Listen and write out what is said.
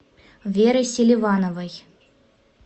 верой селивановой